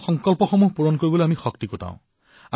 সংকল্প পূৰণৰ বাবে সামৰ্থ গঢ়ি তোলো